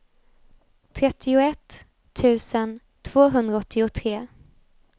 trettioett tusen tvåhundraåttiotre